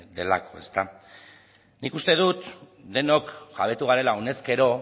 delako nik uste dut denok jabetu garela honezkero